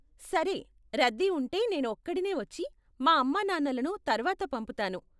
సరే, రద్దీ ఉంటె నేను ఒక్కడినే వచ్చి, మా అమ్మానాన్నలను తర్వాత పంపుతాను.